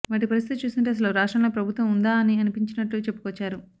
వారి పరిస్థితి చూస్తుంటే అసలు రాష్ట్రంలో ప్రభుత్వం ఉందా అని అనిపించినట్లు చెప్పుకొచ్చారు